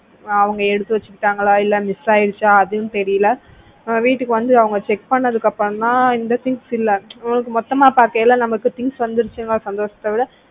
அஹ் அவங்க எடுத்து வச்சுக்கிட்டாங்களா இல்ல miss ஆயிடுச்சா அதுவும் தெரியல வீட்டுக்கு வந்து அவங்க check பண்ணதுக்கு அப்புறம் தான் இந்த things இல்ல மொத்தமா பாக்கையில நமக்கு things வந்துவிட்டது என்று சந்தோஷத்துல